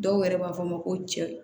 Dɔw yɛrɛ b'a fɔ ma ko cɛ